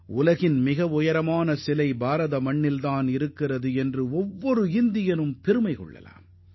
உலகின் மிக உயரமான சிலை இந்தியாவில் அமைக்கப்பட்டிருப்பதை காணும்போது ஒவ்வொரு இந்தியரும் பெருமிதம் அடைவார்